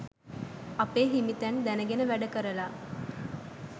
අපේ හිමිතැන් දැනගෙන වැඩ කරලා